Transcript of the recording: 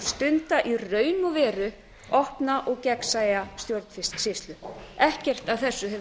stunda í raun og veru opna og gegnsæja stjórnsýslu ekkert af þessu hefur